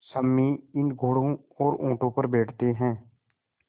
सम्मी इन घोड़ों और ऊँटों पर बैठते हैं